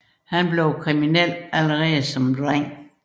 Han blev kriminel allerede som dreng